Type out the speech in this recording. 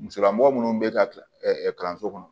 Musolamɔgɔ minnu bɛ ka kalanso kɔnɔ